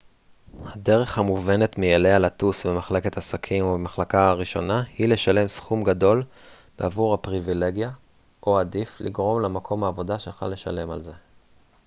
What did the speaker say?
הדרך המובנת מאליה לטוס במחלקת עסקים או במחלקה הראשונה היא לשלם סכום גדול בעבור הפריבילגיה או עדיף לגרום למקום העבודה שלך לשלם על זה